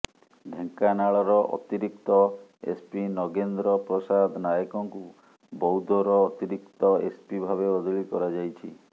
ଢେଙ୍କାନାଳର ଅତିରିକ୍ତ ଏସ୍ପି ନଗେନ୍ଦ୍ର ପ୍ରସାଦ ନାୟକଙ୍କୁ ବୌଦ୍ଧର ଅତିରିକ୍ତ ଏସ୍ପି ଭାବେ ବଦଳି କରାଯାଇଛି